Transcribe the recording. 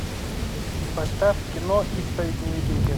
поставь кино исповедь невидимки